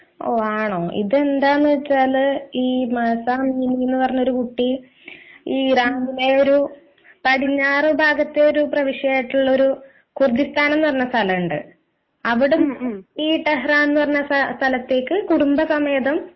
ഓഹ് ആണോ ഇത് എന്താണെന്നു വച്ചാൽ ഈ എന്ന കുട്ടി ഈയൊരു പടിഞ്ഞാറു ഭാഗത്തു ഒരു പ്രവിശ്യ ആയിട്ടുള്ള ഒരു ഖുർദിസ്താൻ എന്ന പറഞ്ഞ ഒരു സ്ഥലം ഉണ്ട് ഈ ടെഹരാൻ എന്ന് പറഞ്ഞ സ്ഥലത്തേക്ക് കുടുംബ സമേതം